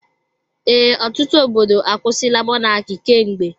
Ee, ọtụtụ obodo akwusila Mọnaki kemgbe.